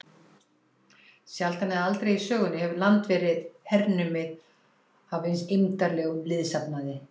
Sjaldan eða aldrei í sögunni hefur land verið hernumið af eins eymdarlegum liðsafnaði.